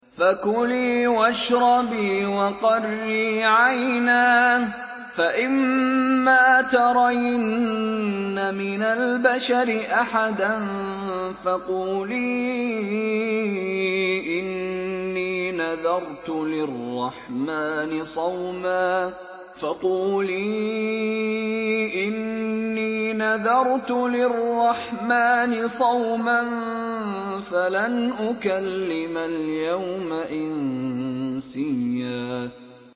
فَكُلِي وَاشْرَبِي وَقَرِّي عَيْنًا ۖ فَإِمَّا تَرَيِنَّ مِنَ الْبَشَرِ أَحَدًا فَقُولِي إِنِّي نَذَرْتُ لِلرَّحْمَٰنِ صَوْمًا فَلَنْ أُكَلِّمَ الْيَوْمَ إِنسِيًّا